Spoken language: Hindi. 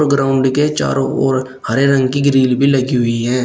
ग्राउंड के चारों ओर हरे रंग की ग्रिल भी लगी हुई है।